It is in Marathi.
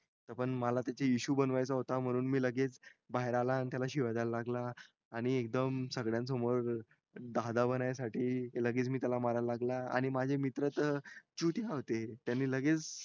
हे पण मला त्याच्या issue बनवायचा होता म्हणून मी लगेच बाहेर आला आणि त्याला शिव्या दयायला लागला आणि एकदम सगळ्यांसमोर दादा बणायसाठी लगेच मी त्याला मारायला लागला आणि माझे मित्र त चुत्या होते त्यांनी लगेच